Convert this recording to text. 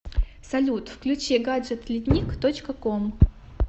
салют включи гаджет летник точка ком